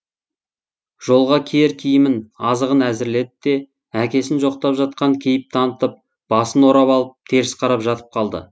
жолға киер киімін азығын әзірледі де әкесін жоқтап жатқан кейіп танытып басын орап алып теріс қарап жатып қалды